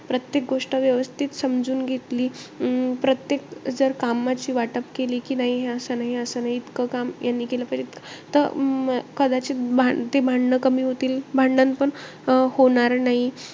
प्रत्येक गोष्ट व्यवस्थित समजून घेतली. अं प्रत्येक कामाची जर वाटप केली. कि नाही हे असं नाही, असं नाही, इतकं काम यांनी केलं पाहिजे इतक. त अं कदाचित भा ते भांडणं कमी होतील. भांडणपण होणार नाही.